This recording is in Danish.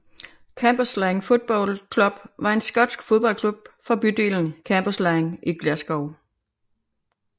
Cambuslang Football Club var en skotsk fodboldklub fra bydelen Cambuslang i Glasgow